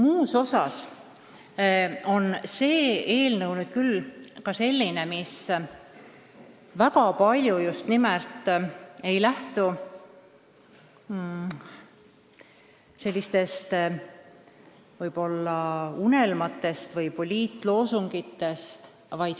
Üldiselt on see eelnõu selline, mis ei lähtu mingitest unelmatest või poliitloosungitest.